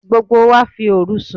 Gbogbo wa fi òru sùn.